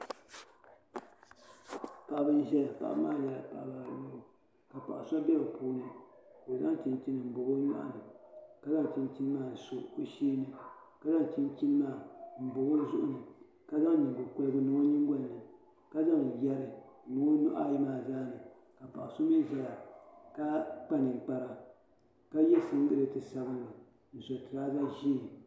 Paɣibi n ʒɛya paɣi maa mi nyɛla paɣiba ayɔbu, ka paɣiso be bɛ puuni ka o zaŋ chin chini ɔ nyɔɣu ni ka zaŋ chinchini maa n sɔ ɔ sheeni. ka zaŋ chinchini maa n bɔbi ɔ zuɣu, ka zaŋ nyiŋgo korigu, n niŋ ɔ nyiŋgolini, ka zaŋ yɛri n lɔ ɔnuhi ayi maa zaa, paɣi so mizaya. ka kpa ninkpara, ka ye siŋgiliti sabinli. n sɔ turaza ʒɛɛ